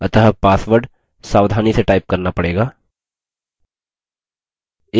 अतः password सावधानी से type करना पड़ेगा